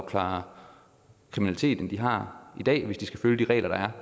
klare kriminaliteten de har i dag hvis de skal følge de regler der er